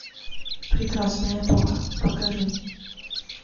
прекрасная эпоха покажи